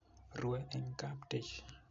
rue eng kaptich